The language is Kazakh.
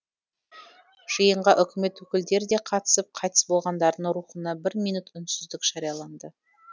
жиынға үкімет өкілдері де қатысып қайтыс болғандардың рухына бір минут үнсіздік жарияланды